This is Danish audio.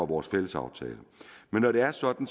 vores fællesaftale når det er sådan